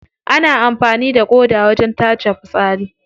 Ana amfani da ƙoda wajen tace fitsari.